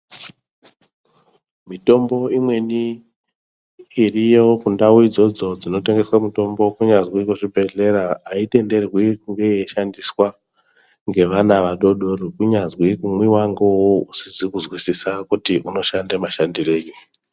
Mitombo imweni iriyo ku ndau idzodzo dzino tengeswe mutombo kunyazwi ku zvibhedhlera ayi tenderwi kunge yei shandiswa nge vana vadodori kunyazwi kumwiwa nge uwowo usizi ku zwisisa kuti uno shanda mashandirei.